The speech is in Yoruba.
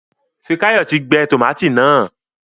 Fikayomi tí gbé tomati náa.